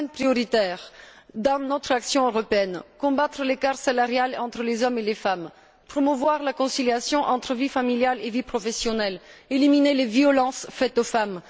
Trois domaines sont prioritaires dans notre action européenne combattre l'écart salarial entre les hommes et les femmes, promouvoir la conciliation entre vie familiale et vie professionnelle, éliminer les violences faites aux femmes.